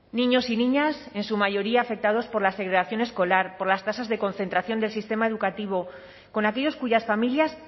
niños y niñas en su mayoría afectados por la segregación escolar por las tasas de concentración del sistema educativo con aquellos cuyas familias